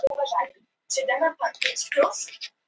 Ég giftist áður en ég lauk námi og flosnaði upp úr háskóla um tíma.